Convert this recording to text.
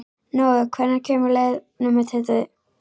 Nói, hvenær kemur leið númer tuttugu?